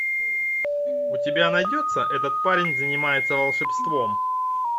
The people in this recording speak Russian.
у тебя найдется этот парень занимается волшебством